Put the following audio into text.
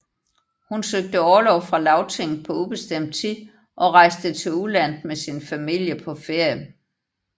Hun søgte orlov fra Lagtinget på ubestemt tid og rejste til udlandet med sin familie på ferie